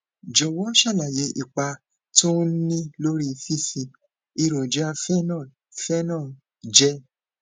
jòwó ṣàlàyé ipa tó ń ní lórí fífi èròjà phenol phenol jẹ